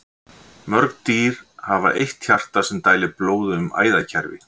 Mörg dýr hafa eitt hjarta sem dælir blóði um æðakerfi.